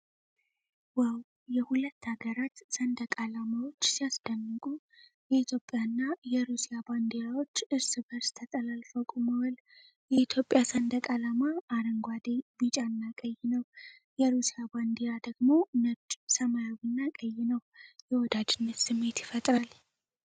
ዋው! የሁለት ሀገራት ሰንደቅ ዓላማዎች ሲያስደንቁ! የኢትዮጵያና የሩሲያ ባንዲራዎች እርስ በርስ ተጠላልፈው ቁመዋል። የኢትዮጵያ ሰንደቅ ዓላማ አረንጓዴ፣ ቢጫና ቀይ ነው። የሩሲያ ባንዲራ ደግሞ ነጭ፣ ሰማያዊና ቀይ ነው። የወዳጅነት ስሜት ይፈጥራል።